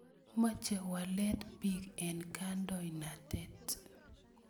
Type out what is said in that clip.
Moche walet piiik eng' kandoinatet.